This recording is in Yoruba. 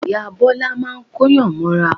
Ìyá Bọ́lá máa ń Kóyàn mọ́ra